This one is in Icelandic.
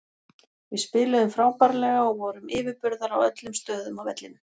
Við spiluðum frábærlega og vorum yfirburðar á öllum stöðum á vellinum.